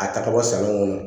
A ta ka bɔ sanu kɔnɔ